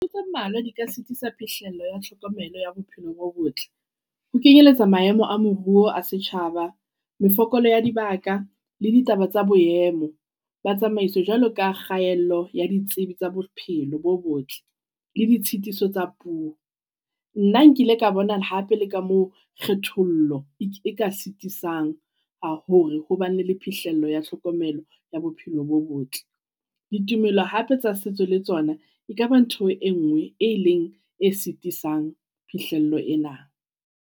Ke tse mmalwa di ka sitisa phihlello ya tlhokomelo ya bophelo bo botle. Ho kenyeletsa maemo a moruo a setjhaba, mefokolo ya dibaka, le ditaba tsa boemo. Ba tsamaiso jwalo ka kgaello ya ditsebi tsa bophelo bo botle le ditshitiso tsa puo. Nna nkile ka bona hape le ka mo kgethollo e ka sitisang ka hore hobane le le phihlelo ya tlhokomelo ya bophelo bo botle. Ditumelo hape tsa setso le tsona e ka ba ntho e ngwe e ileng e sitisang phihlello ena.